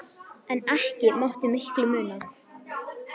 En ekki mátti miklu muna.